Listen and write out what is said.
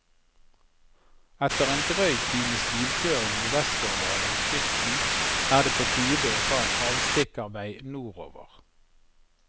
Etter en drøy times bilkjøring nordvestover langs kysten, er det på tide å ta en avstikkervei nordover.